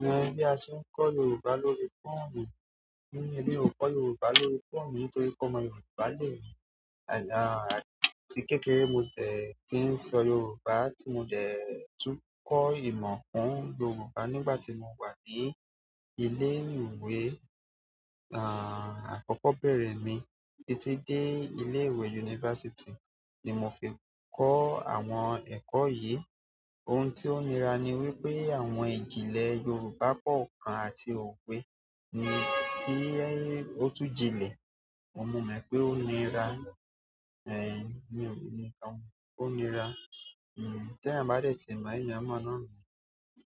ni bí a ṣe ń kọ́ Yorùbá lórí fóònù. Emí o kò Yorùbá lórí fóònù nítorí pe ọmọ Yorùbá lèmí. Àti kékeré ni mo dẹ̀ tí ń sọ Yorùbá tí mo dè tún kọ ìmọ̀ kún Yorùbá nígbà tí mo wà ní ilé ìwé, akọ́kọ́ bẹ̀rẹ̀ mí títí dé ilé ìwé yunifásítì ni mo fi kọ́ àwọn ẹ̀kọ́ yìí. Ohun tí ó nira ni wípé àwọn ìjìnlẹ̀ Yorùbá pọ̀ àti owé ni tí ó tún jinlẹ̀. Mo mò pé ó nira, ní òun ní kan ló nira. Ti eyan ba de ti mo, eyan mo náà nìyẹn.